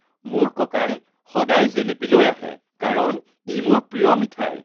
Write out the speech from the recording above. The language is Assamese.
মোৰ ককাই সদায় জেলেপি লৈ আহে কাৰণ ই মোৰ প্ৰিয় মিঠাই